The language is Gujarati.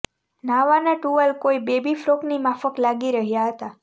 ન્હાવાના ટુવાલ કોઇ બેબી ફ્રોકની માફક લાગી રહ્યા હતા